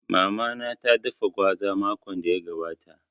Mama na ta dafa gwaza makon da ya gabata